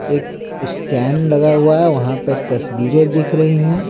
एक स्टैंड लगा हुआ है वहां पे तस्वीरें दिख रही है।